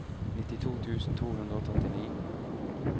nittito tusen to hundre og trettini